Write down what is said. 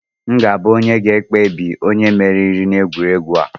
M ga-abụ onye ga-ekpebi onye meriri n'egwuregwu a!